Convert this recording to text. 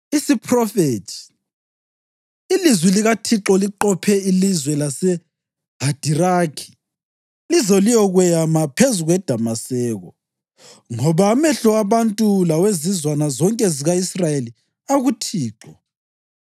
Isiphrofethi: Ilizwi likaThixo liqophe ilizwe laseHadiraki lize liyokweyama phezu kweDamaseko ngoba amehlo abantu lawezizwana zonke zika-Israyeli akuThixo